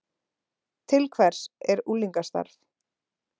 Til hvers er unglingastarf